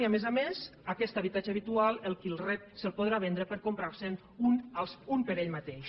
i a més a més aquest habitatge habitual el qui el rep se’l podrà vendre per comprarse’n un per ell mateix